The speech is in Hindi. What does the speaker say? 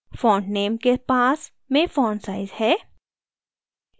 font name के पास में font size है